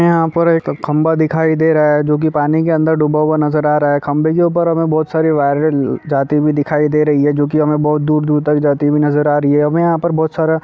यहाँ पर एक खंभा दिखाई दे रहा हैं जो पानी के अंदर डूबा हुआ नजर आ रहा हैंखंभे के ऊपर हमे बहोत सारी वाइरे जाते हुए दिखाई दे रही हैं जो की हमें बहुत दूर दूर तक जाते हुए नजर आ रही हैं हमे यहाँ पर बहोत सारा--